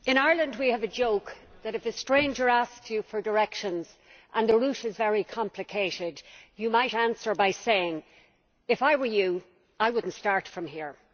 Mr President, in Ireland we have a joke that if a stranger asks you for directions and the route is very complicated, you might answer by saying if I were you I would not start from here'.